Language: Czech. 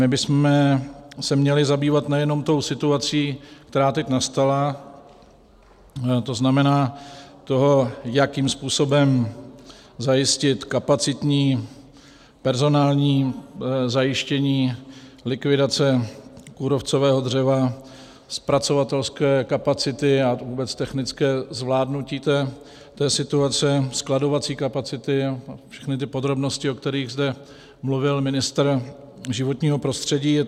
My bychom se měli zabývat nejenom tou situací, která teď nastala, to znamená tím, jakým způsobem zajistit kapacitní personální zajištění likvidace kůrovcového dřeva, zpracovatelské kapacity a vůbec technické zvládnutí té situace, skladovací kapacity a všechny ty podrobnosti, o kterých zde mluvil ministr životního prostředí.